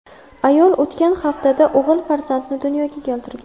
Ayol o‘tgan haftada o‘g‘il farzandni dunyoga keltirgan.